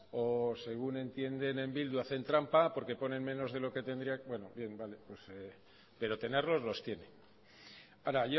o según entienden en bildu hacen trampa porque ponen menos de lo que tendrían bueno vale pero tenerlos los tiene ahora